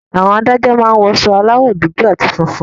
Àwọn Adájọ́ máa ń wọ aṣọ aláwọ̀ dúdú àti funfun